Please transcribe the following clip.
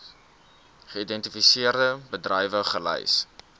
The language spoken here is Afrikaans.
geïdentifiseerde bedrywe gelys